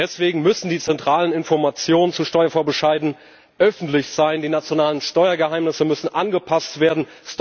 Deswegen müssen die zentralen Informationen zu Steuervorbescheiden öffentlich sein, die nationalen Steuergeheimnisse müssen angepasst werden.